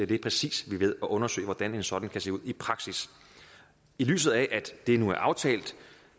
vi er præcis ved at undersøge hvordan en sådan kan se ud i praksis i lyset af at det nu er aftalt